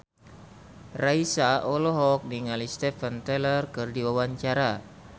Raisa olohok ningali Steven Tyler keur diwawancara